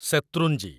Shetrunji